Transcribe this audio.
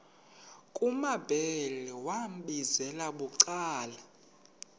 kumambhele wambizela bucala